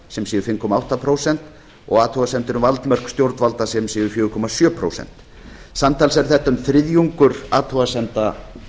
sem séu fimm komma átta prósent og athugasemdir um valdmörk stjórnvalda sem séu fjögur komma sjö prósent samtals er þetta um þriðjungur athugasemda